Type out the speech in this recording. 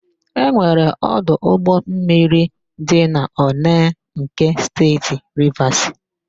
E nwere ọdụ ụgbọmmiri dị n'Onee nke Steeti Rivasi.